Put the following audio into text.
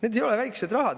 Need ei ole väikesed rahad!